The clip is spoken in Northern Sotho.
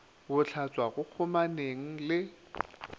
go hlatswa go kgomaneng le